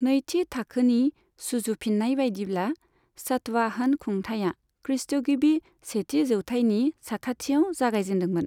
नैथि थाखोनि सुजुफिननाय बायदिब्ला, सातवाहन खुंथाइआ खृष्टगिबि सेथि जौथाइनि साखाथियाव जागायजेन्दोंमोन।